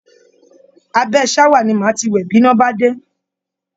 Abẹ́ ṣáwà ni màá ti wẹ̀ bíná bá dé